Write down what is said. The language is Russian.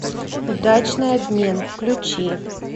удачный обмен включи